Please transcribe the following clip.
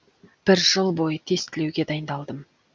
бір жыл бойы тестілеуге дайындалдым